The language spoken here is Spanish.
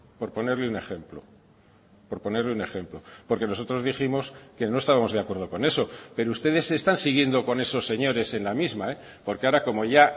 por ponerle un ejemplo por ponerle un ejemplo porque nosotros dijimos que no estábamos de acuerdo con eso pero ustedes están siguiendo con esos señores en la misma porque ahora como ya